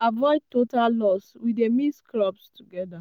avoid total loss we dey mix crops together.